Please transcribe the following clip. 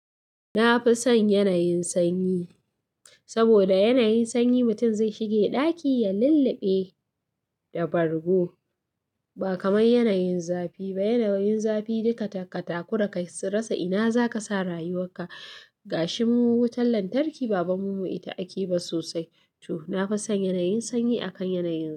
Na fi son yanayin sanyi saboda yanayin sanyi mutum zai shiga ɗaki ya lulluɓe da bargo ba kamar yanayin zafi ba. Yanayin zafi duka katako ka rasa ina za ka sa rayuwar ka. Gashi mu wutar lantarki baban mu ita ake ba sosai. To, na fi son yanayin sanyi akan yanayin.